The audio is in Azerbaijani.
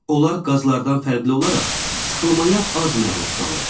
Onlar qazlardan fərqli olaraq sıxılmaya az məruz qalır.